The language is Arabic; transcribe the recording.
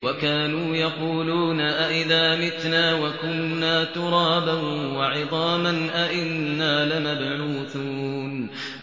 وَكَانُوا يَقُولُونَ أَئِذَا مِتْنَا وَكُنَّا تُرَابًا وَعِظَامًا أَإِنَّا لَمَبْعُوثُونَ